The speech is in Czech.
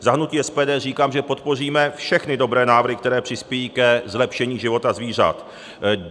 Za hnutí SPD říkám, že podpoříme všechny dobré návrhy, které přispějí ke zlepšení života zvířat.